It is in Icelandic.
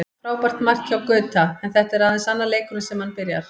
Frábært mark hjá Gauta, en þetta er aðeins annar leikurinn sem hann byrjar.